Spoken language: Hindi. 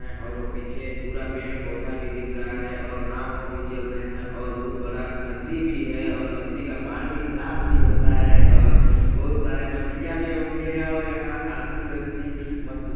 और वो पीछे पूरा पेड़ पौधा भी दिख रहा है और नाव वाव भी चल रहे हैं और बहुत बड़ा नदी भी है और नदी का पानी साफ़ भी होता है और बहुत सारे मछलियां भी होंगे और यहाँ आदमी लोग भी मस्त--